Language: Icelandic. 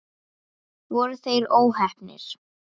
Voru þeir óheppnir?